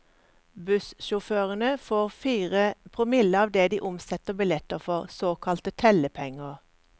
Bussjåførene får fire promille av det de omsetter billetter for, såkalte tellepenger.